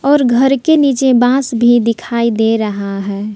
और घर के नीचे बांस भी दिखाई दे रहा है।